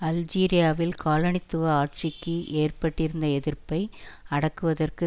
அல்ஜீரியாவில் காலனித்துவ ஆட்சிக்கு ஏற்பட்டிருந்த எதிர்ப்பை அடக்குவதற்கு